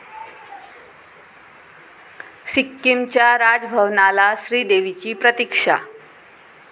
सिक्कीमच्या राजभवनाला श्रीदेवीची प्रतिक्षा